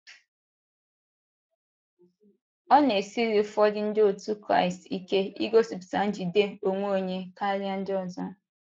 Ọ na - esiri ụfọdụ Ndị otú Kraịst ike igosipụta njide onwe onye karịa ndị ọzọ.